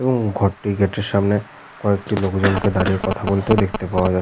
এবং ঘরটি গেটের সামনে কয়েকটি লোকজন কে দাঁড়িয়ে কথা বলতেও দেখতে পাওয়া যা--